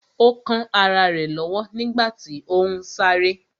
Ó kán ará rẹ̀ lọ́wọ́ nígbàtí ó ún sáré